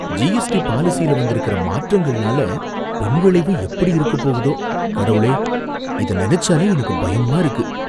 GST பாலிசியில வந்திருக்கிற மாற்றங்கள்னால பின்விளைவு எப்படி இருக்கப் போகுதோ, கடவுளே! இத நெனச்சாலே எனக்கு பயமா இருக்கு.